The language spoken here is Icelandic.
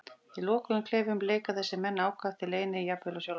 Í lokuðum klefum leika þessir menn ákaft í leyni, jafnvel á sjálfa sig.